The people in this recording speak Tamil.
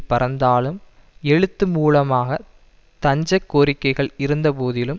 பறந்தாலும் எழுத்து மூலமாக தஞ்சக் கோரிக்கைகள் இருந்தபோதிலும்